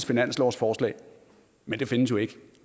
finanslovsforslag men det findes jo ikke